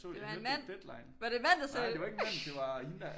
Jeg så det i Deadline nej det var ikke en mand det var hende der